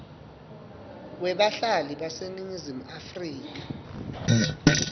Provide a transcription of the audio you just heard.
webahlali baseningizimu afrika